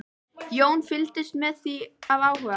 Jón fylgdist með því af áhuga.